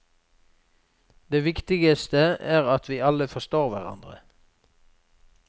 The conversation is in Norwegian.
Det viktigste er at vi alle forstår hverandre.